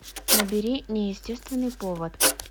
набери неестественный повод